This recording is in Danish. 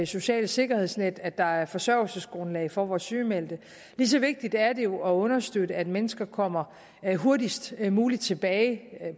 socialt sikkerhedsnet at der er forsørgelsesgrundlag for vores sygemeldte lige så vigtigt er det jo at understøtte at mennesker kommer hurtigst muligt tilbage